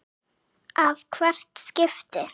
að hvert skipti.